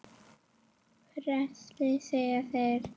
Frelsi segja þeir.